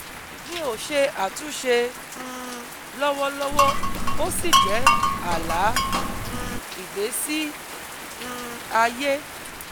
Mi ò ṣe àtúnṣe um lọ́wọ́lọ́wọ́ ó sì jẹ́ àlá um ìgbésí um ayé